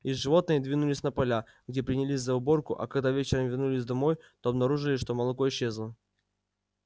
и животные двинулись на поля где принялись за уборку а когда вечером вернулись домой то обнаружили что молоко исчезло